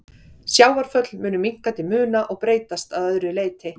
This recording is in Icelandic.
Sjávarföll mundu minnka til muna og breytast að öðru leyti.